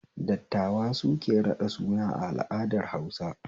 Dattawa suke raɗa suna a al'adar Hausa